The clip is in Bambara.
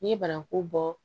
N'i ye banaku bɔ